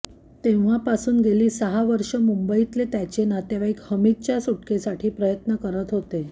तेव्हापासून गेली सहा वर्ष मुंबईतले त्याचे नातेवाईक हामिदच्या सुटकेसाठी प्रयत्न करत होते